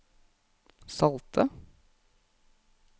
salte